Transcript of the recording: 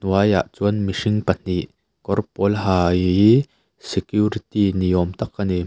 hnuaiah chuan mihring pa hnih kawr pawl ha ihhhi security ni awm tak a ni.